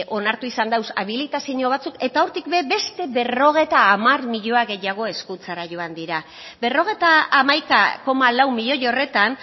onartu izan da habilitzaio batzuk eta hortik ere beste berrogeita hamar milioi gehiago hezkuntzara joan dira berrogeita hamaika koma lau miloi horretan